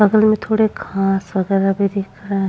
बगल में थोड़े घास वगैरह भी दिख रहे हैं।